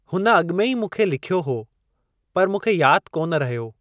हुन अॻिमें ई मूं खे लिख्यो हुओ, पर मूंखे यादि कोन रहियो।